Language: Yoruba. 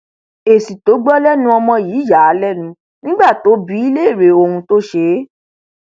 èsì tó gbọ lẹnu ọmọ yìí yà á lẹnu nígbà tó bi í léèrè ohun tó ṣe é